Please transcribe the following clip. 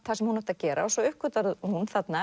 það sem hún átti að gera svo uppgötvar hún þarna